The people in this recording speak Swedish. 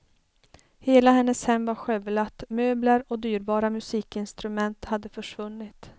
Hela hennes hem var skövlat, möbler och dyrbara musikinstrument hade försvunnit.